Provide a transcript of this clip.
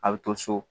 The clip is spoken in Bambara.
A bɛ to so